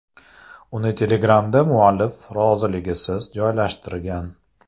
Uni Telegram’da muallif roziligisiz joylashtirgan.